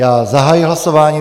Já zahajuji hlasování.